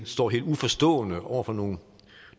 står helt uforstående over for nogle